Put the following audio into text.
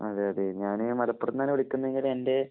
അതേയതെ, ഞാന് മലപ്പുറത്ത് നിന്നാണ് വിളിക്കുന്നതെങ്കിലും എന്‍റെ